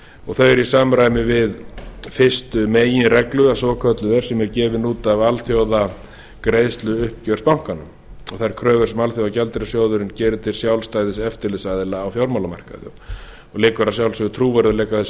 og það er í samræmi við fyrstu meginreglu eða svokölluð sem er gefin út af alþjóðagreiðsluuppgjöri bankanna og þær kröfur sem alþjóðagjaldeyrissjóðurinn gerir til sjálfstæðs eftirlitsaðila á fjármálamarkaði og liggur að sjálfsögðu trúverðugleika þess